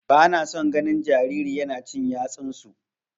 Bana son ganin jariri yana cin yatsunsu.